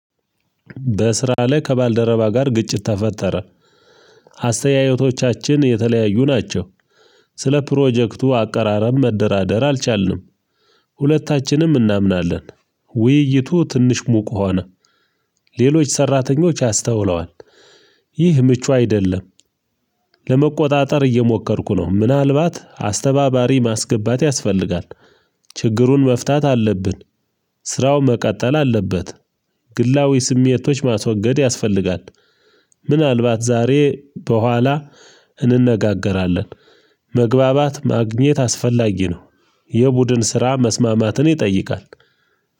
በስራ ላይ ከባልደረባ ጋር ግጭት ተፈጠረ። አስተያየቶቻችን የተለያዩ ናቸው። ስለ ፕሮጀክቱ አቀራረብ መደራደር አልቻልንም። ሁለታችንም እናምናለን። ውይይቱ ትንሽ ሙቅ ሆነ። ሌሎች ሰራተኞች አስተውለዋል። ይህ ምቹ አይደለም። ለመቆጣጠር እየሞከርኩ ነው ምናልባት አስተባባሪ ማስገባት ያስፈልጋል። ችግሩን መፍታት አለብን። ስራው መቀጠል አለበት። ግላዊ ስሜቶች ማስወገድ ያስፈልጋል። ምናልባት ዛሬ በኋላ እንነጋገራለን። መግባባት ማግኘት አስፈላጊ ነው። የቡድን ስራ መስማማትን ይጠይቃል